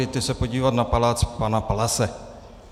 Jeďte se podívat na palác pana Palase.